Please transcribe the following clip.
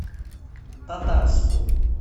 татарску